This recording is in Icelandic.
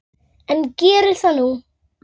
En geri það nú.